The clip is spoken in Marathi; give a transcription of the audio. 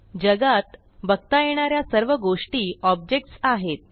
जगात बघता येणा या सर्व गोष्टी ऑब्जेक्ट्स आहेत